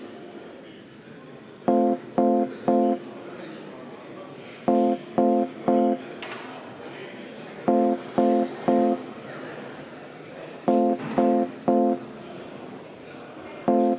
Kohaloleku kontroll Oma kohaloleku registreeris 81 Riigikogu liiget.